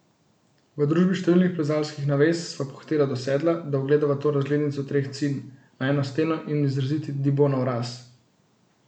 V družbi številnih plezalskih navez sva pohitela do sedla, da ugledava to razglednico Treh Cin, najino steno in izraziti Dibonov raz.